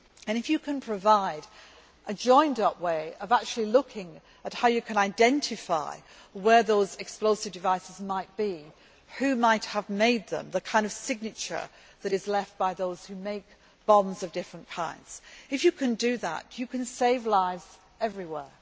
If you can provide a joined up way of actually looking at how you can identify where those explosive devices might be, who might have made them, the kind of signature that is left by those who make bombs of different kinds, if you can do that you can save lives everywhere.